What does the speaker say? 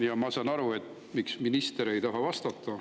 Ja ma saan aru, miks minister ei taha vastata.